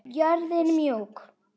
Jörðin mjúk.